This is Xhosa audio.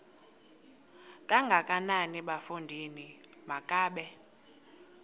kangakanana bafondini makabe